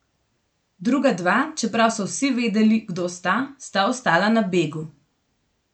Druga dva, čeprav so vsi vedeli, kdo sta, sta ostala na begu.